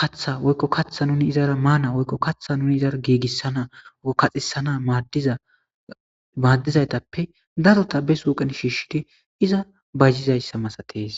katha woykko kaththa nuni izara maana woykko kaththa nuni izara giigissana kaxisana dzamaaddizaytappe darota be suuqen shiishshidi iza bayzizayssa masatees.